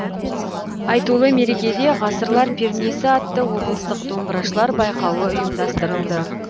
айтулы мерекеде ғасырлар пернесі атты облыстық домбырашылар байқауы ұйымдастырылды